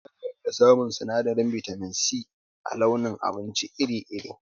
Ana iya samun sinadarin bitamin C a launin abinci iri iri